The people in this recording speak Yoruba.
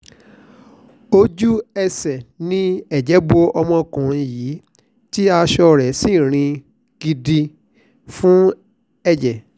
ojú-ẹsẹ̀ ni ẹ̀jẹ̀ bo ọmọkùnrin yìí tí aṣọ rẹ̀ sì rin gbindin fún ẹ̀jẹ̀